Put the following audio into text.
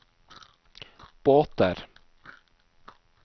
båter